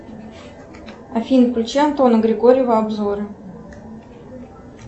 афина включи антона григорьева обзоры